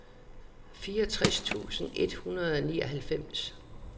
fireogtres tusind et hundrede og nioghalvfems